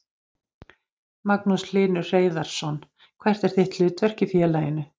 Magnús Hlynur Hreiðarsson: Hvert er þitt hlutverk í félaginu?